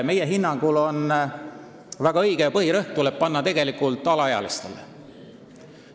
Meie hinnangul on väga õige, kui põhirõhk pannakse alaealistele.